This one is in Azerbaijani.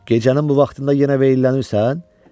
Gecənin bu vaxtında yenə veyllənirsən?